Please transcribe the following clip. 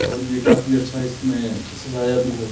और ये काफी अच्छा इसमें सजाया भी है।